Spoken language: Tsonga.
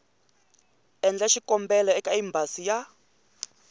endla xikombelo eka embasi ya